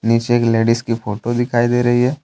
नीचे एक लेडिस की फोटो दिखाई दे रही है।